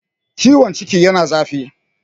ciwon ciki yana zafi